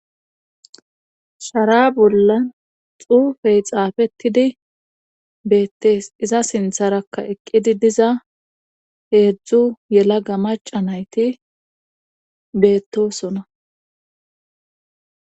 shara bollan xuufey xaafettidi beettees iza sintharakka eqqidi diza heedzdzu yela ga maca nayti beettosona